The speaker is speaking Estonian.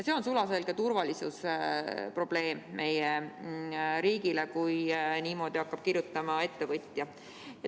See on meie riigi sulaselge turvalisuse probleem, kui niimoodi hakkab kirjutama ettevõtja.